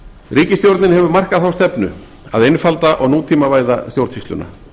ríkisstjórnin hefur markað þá stefnu að einfalda og nútímavæða stjórnsýsluna